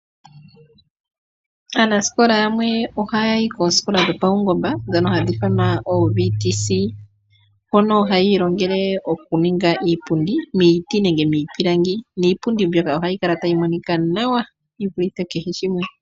Aanasikola yamwe ohaya yi koosikola dhopaungomba ndhono hadhi ithanwa ooVTC. Hono haya ilongele okuninga iipundi miiti nenge miipilangi, niipundi mbyoka ohayi kala tayi monika nawa yi vulithe kehe shimwe.